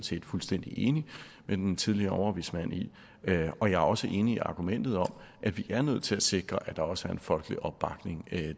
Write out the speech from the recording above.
set fuldstændig enig med den tidligere overvismand i og jeg er også enig i argumentet om at vi er nødt til at sikre at der også er en folkelig opbakning